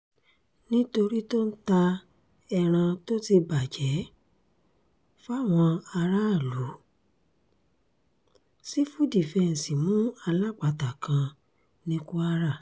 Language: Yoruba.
nítorí tó ń ta ẹran tó ti bàjẹ́ fáwọn aráàlú sífù dífẹ̀ǹsì mú alápatà kan ní kwara